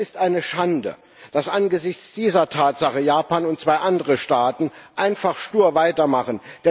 Es ist eine Schande, dass angesichts dieser Tatsache Japan und zwei andere Staaten einfach stur weitermachen.